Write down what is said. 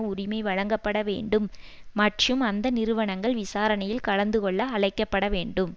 உரிமை வழங்கப்பட வேண்டும் மற்றும் அந்த நிறுவனங்கள் விசாரணையில் கலந்து கொள்ள அழைக்கப்பட வேண்டும்